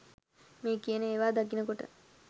මේ කියන ඒවා දකින කොට